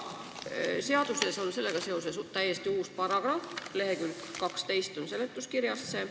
Seaduses on sellega seoses täiesti uus paragrahv, seletuskirjas räägitakse sellest leheküljel 12.